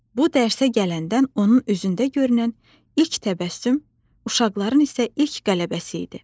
Bu dərsə gələndən onun üzündə görünən ilk təbəssüm uşaqların isə ilk qələbəsi idi.